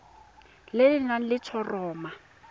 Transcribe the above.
le le nang le letshoroma